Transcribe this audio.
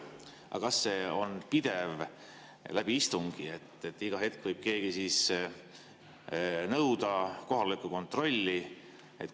Aga kas see on pidev läbi istungi, nii et iga hetk võib keegi nõuda kohaloleku kontrolli?